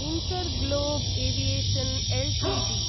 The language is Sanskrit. InterGlobe Aviation Ltd